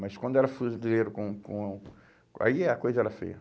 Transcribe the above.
Mas quando era fuzileiro com com... Aí a coisa era feia.